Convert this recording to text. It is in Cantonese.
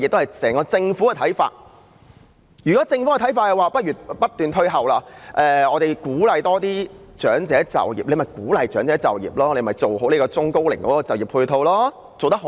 如果政府的看法是不如推遲退休年齡，鼓勵長者就業，那便去鼓勵長者就業，做好對中高齡就業的配套，但這方面做得好嗎？